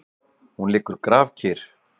Hún liggur grafkyrr.